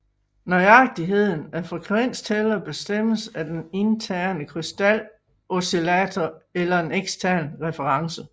Nøjagtigheden af en frekvenstæller bestemmes af den interne krystaloscillator eller en ekstern reference